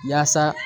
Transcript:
Yaasa